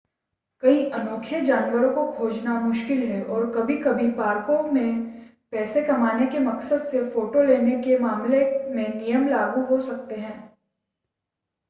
कई अनोखे जानवरों को खोजना मुश्किल है और कभी-कभी पार्कों में पैसे कमाने के मकसद से फ़ोटो लेने के मामले में नियम लागू हो सकते हैं